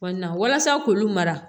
walasa k'olu mara